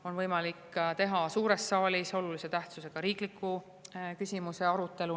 On ka võimalik teha suures saalis olulise tähtsusega riikliku küsimuse arutelu.